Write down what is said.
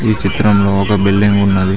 ఈ చిత్రంలో ఒక బిల్డింగ్ ఉన్నది.